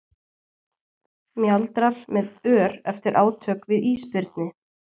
Mjaldrar með ör eftir átök við ísbirni.